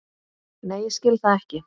Nei ég skil það ekki.